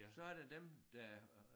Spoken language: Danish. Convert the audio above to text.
Så er der dem der og